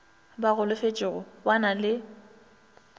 ba golofetšego ba na le